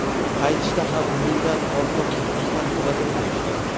Qaytishda ham mingdan ortiq muxlislar kuzatib qo‘yishgan.